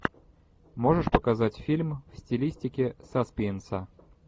можешь показать фильм в стилистике саспенса